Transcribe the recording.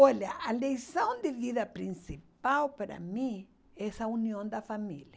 Olha, a lição de vida principal para mim é essa união da família.